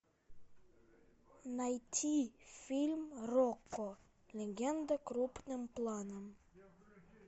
найти фильм рокко легенда крупным планом